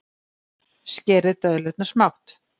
Skerið döðlurnar smátt.